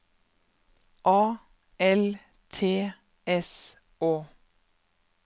A L T S Å